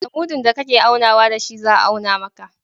Da mudun da ka ke aunawa da shi za a auna maka.